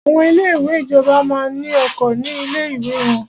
Àwọn ilé ìwé ìjọba máa ní oko ní ilé ìwé wọ́n.